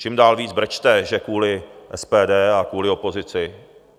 Čím dál víc brečte, že kvůli SPD a kvůli opozici.